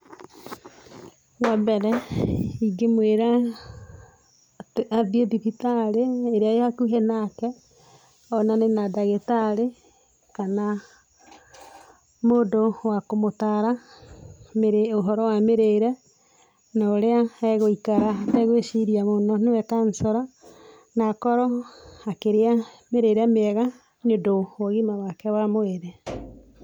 Wambere ĩngĩ mwĩra atĩ athiĩ thibitarĩ ĩrĩa ĩrĩ ĩhakũhĩ nake onane na ndagĩtarĩ kana mũndũ wa kũmũtara ũhoro wa mĩrĩre na ũrĩa agũikara ategũiciria mũno nĩwe kanjũra na akorwo akĩria mĩrĩre mĩega nĩ ũndũ wa ũgĩma wake wa mwĩrĩ.